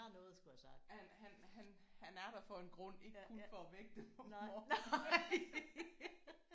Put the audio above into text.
Han han han han er der for en grund. Ikke kun for at vække dig om morgenen